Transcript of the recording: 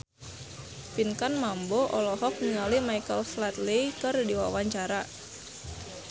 Pinkan Mambo olohok ningali Michael Flatley keur diwawancara